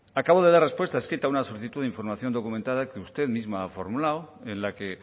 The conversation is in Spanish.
acabo de dar respuesta escrita a una solicitud de información documentada que usted misma ha formulado en la que